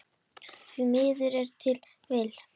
Því miður ef til vill?